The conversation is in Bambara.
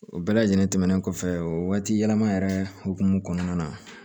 O bɛɛ lajɛlen tɛmɛnen kɔfɛ waati yɛlɛma yɛrɛ hukumu kɔnɔna na